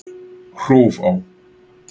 Hrófá